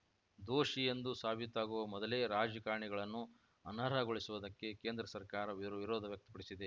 ದೋಷಿ ಎಂದು ಸಾಬೀತಾಗುವ ಮೊದಲೇ ರಾಜಕಾರಣಿಗಳನ್ನು ಅನರ್ಹಗೊಳಿಸುವುದಕ್ಕೆ ಕೇಂದ್ರ ಸರ್ಕಾರ ವಿರೊ ವಿರೋಧ ವ್ಯಕ್ತಪಡಿಸಿದೆ